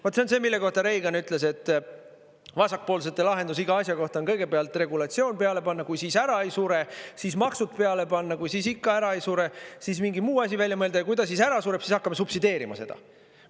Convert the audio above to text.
Vaat see on see, mille kohta Reagan ütles, et vasakpoolsete lahendus iga asja kohta on kõigepealt regulatsioon peale panna, kui siis ära ei sure, siis maksud peale panna, kui siis ikka ära ei sure, siis mingi muu asi välja mõelda, ja kui ta siis ära sureb, siis hakkame subsideerima seda.